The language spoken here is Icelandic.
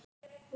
Hlíðarskóla